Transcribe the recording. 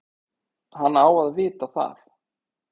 Hann á að vita það.